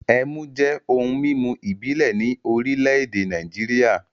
Ẹmu jẹ́ ohun-mímu ìbílẹ̀ ní orílẹ̀-èdè Nàìjíríà.